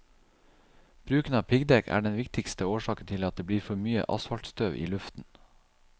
Bruken av piggdekk er den viktigste årsaken til at det blir for mye asfaltstøv i luften.